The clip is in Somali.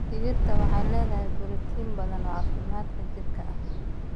Digirta waxay leeyihiin borotiin badan oo caafimaadka jidhka ah.